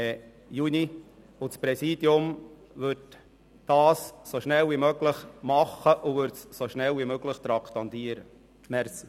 Das Präsidium würde das Ganze so schnell wie möglich anpacken und das Thema so bald wie möglich traktandieren.